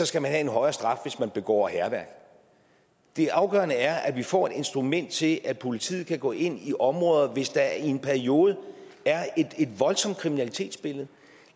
skal have en højere straf hvis man begår hærværk det afgørende er at vi får et instrument til at politiet kan gå ind i områder hvis der i en periode er et voldsomt kriminalitetsbillede